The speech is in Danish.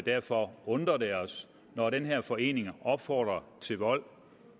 derfor undrer det os når den her forening opfordrer til vold